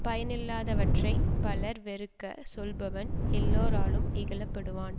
பயனில்லாதவற்றை பலர் வெறுக்கச் சொல்லுபவன் எல்லாராலும் இகழ படுவான்